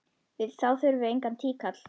Þá þurfum við engan tíkall!